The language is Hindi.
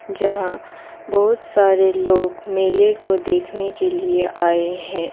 यहां बहुत सारे लोग मेले को देखने के लिए आए हैं।